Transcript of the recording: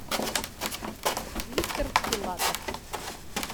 виктор филатов